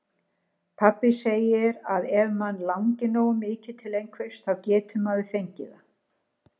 Pabbi segir að ef mann langi nógu mikið til einhvers, þá geti maður fengið það.